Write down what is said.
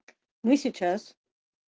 мы сейчас